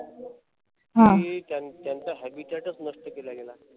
कि त्यांचा त्याचं habitat नष्ट केला गेला.